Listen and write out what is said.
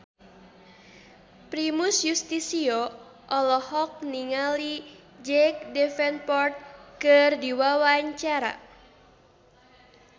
Primus Yustisio olohok ningali Jack Davenport keur diwawancara